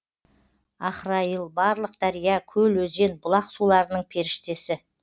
ахрайыл барлық дария көл өзен бұлақ суларының періштесі